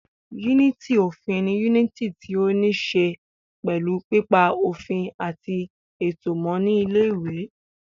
Yúnìtì òfin ni yúnìtì tí ó ní ṣe pẹ̀lú pípa òfin àti ètò mọ́ ní ilé ìwé